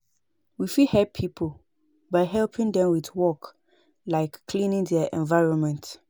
We fit help pipo by helping them with work like cleaning their environment